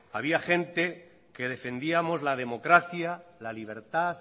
había gente que defendíamos la democracia la libertad